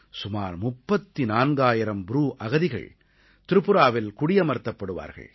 சுமார் 34000 ப்ரூ அகதிகள் திரிபுராவில் குடியமர்த்தப்படுவார்கள்